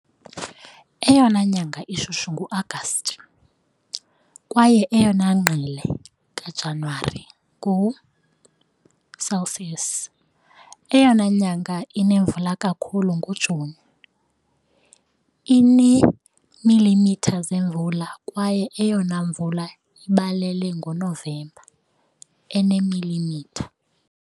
Eyona nyanga ishushu nguAgasti, kwaye eyona ngqele kaJanuwari, ngo-Celsius. Eyona nyanga inemvula kakhulu nguJuni, ineemilimitha zemvula, kwaye eyona mvula ibalele ngoNovemba, eneemilimitha .